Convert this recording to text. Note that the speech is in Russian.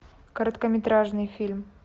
короткометражный фильм